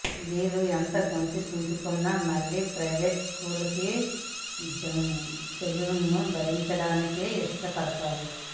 వీళ్లు ఎంత గొంతు చించుకున్నా మళ్లీ ప్రయివేట్ స్కూళ్ల జులుంను భరించడానికే ఇష్ట పడతారని